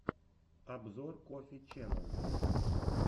обзор коффи ченнэл